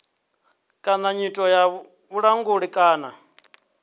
kana nyito ya vhulanguli kana